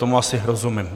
Tomu asi rozumím.